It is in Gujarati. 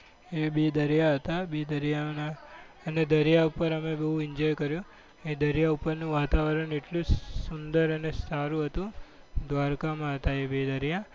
એ બે દરિયા હતા. બે દરિયા એ દરિયા પર અમે બહુ enjoy કર્યું. એ દરિયા ઉપરનું વાતાવરણ એટલું સુંદર અને સારું હતું. દ્વારકામાં હતા એ બે દરિયા.